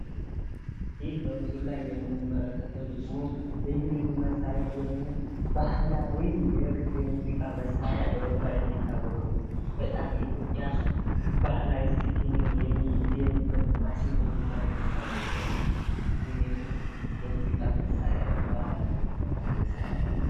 ይህ በምስሉ ላይ የምንመለከተው ደግሞ ባህላዊ የክር የሙዚቃ መሳሪያ ሲሆን ማሲንቆ ይባላል። ባህላዊ ትውፊት የሚገኝበትና በጣም ደስ የሚል አዝናኝ የሙዚቃ መሳሪያ ነው።